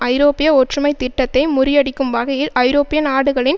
ஐரோப்பிய ஒற்றுமைத்திட்டத்தை முறியடிக்கும் வகையில் ஐரோப்பிய நாடுகளின்